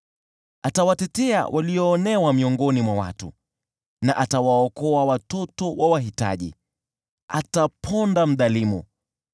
Atawatetea walioonewa miongoni mwa watu na atawaokoa watoto wa wahitaji, ataponda mdhalimu.